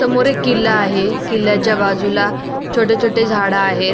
समोर एक किला आहे किल्याच्या बाजुला छोटे छोटे झाड आहेत.